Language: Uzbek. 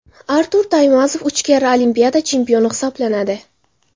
Artur Taymazov uch karra Olimpiada chempioni hisoblanadi.